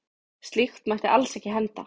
Slíkt mætti alls ekki henda.